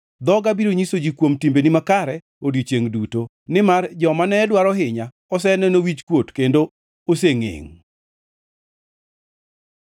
Dhoga biro nyiso ji kuom timbeni makare odiechiengʼ duto, nimar joma ne dwaro hinya oseneno wichkuot kendo osengʼengʼ.